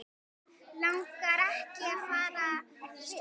Langar ekki fram í stofu.